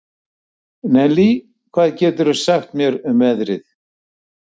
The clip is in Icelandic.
Nellý, hvað geturðu sagt mér um veðrið?